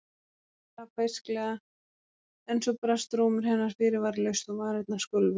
Stella beisklega en svo brast rómur hennar fyrirvaralaust og varirnar skulfu.